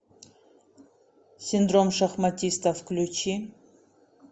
синдром шахматиста включи